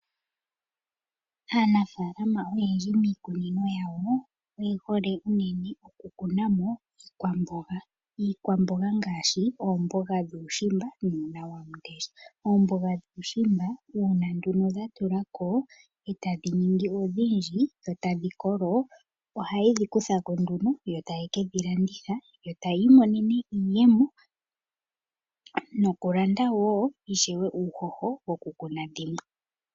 Aanafalama oyendji miikunino yawo oye hole uunene oku kunamo iikwamboga. Iikwamboga ngashi oomboga dhuushimba, uuna wamundesha. Oomboga dhuushimba uuna nduno dha tulako etadhi ningi odhindji, etadhi kolo, ohaye kedhi kuthako nduno eta ye kedhi landitha, yo taya imonene iiyemo nokulanda wo uushosho woku kuna dhimwe.